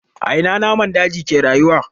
A ina namun daji ke rayuwa?